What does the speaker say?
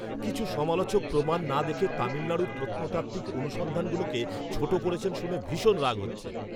কিছু সমালোচক প্রমাণ না দেখে তামিলনাড়ুর প্রত্নতাত্ত্বিক অনুসন্ধানগুলোকে ছোট করেছেন শুনে ভীষণ রাগ হচ্ছে!